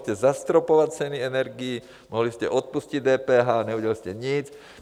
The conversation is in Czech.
Můžete zastropovat ceny energií, mohli jste odpustit DPH, neudělali jste nic.